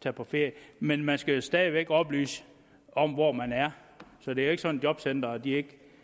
tage på ferie men man skal stadig væk oplyse om hvor man er så det er ikke sådan at jobcenteret ikke